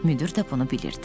Müdir də bunu bilirdi.